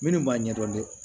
Minnu b'a ɲɛdɔn dɛ